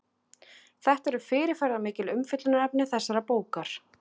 Þetta eru fyrirferðarmikil umfjöllunarefni þessarar bókar.